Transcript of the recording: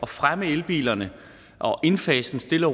fremme elbilerne og indfase dem stille